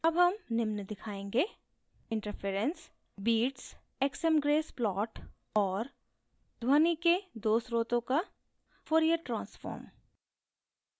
अब हम निम्न दिखायेंगे: